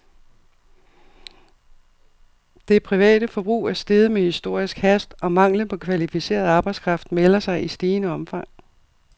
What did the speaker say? Det private forbrug er steget med historisk hast, og manglen på kvalificeret arbejdskraft melder sig i stigende omfang.